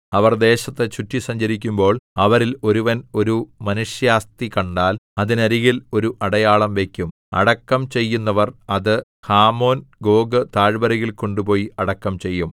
അവർ ദേശത്തു ചുറ്റി സഞ്ചരിക്കുമ്പോൾ അവരിൽ ഒരുവൻ ഒരു മനുഷ്യാസ്ഥി കണ്ടാൽ അതിനരികിൽ ഒരു അടയാളം വയ്ക്കും അടക്കം ചെയ്യുന്നവർ അത് ഹാമോൻഗോഗ് താഴ്വരയിൽ കൊണ്ടുപോയി അടക്കം ചെയ്യും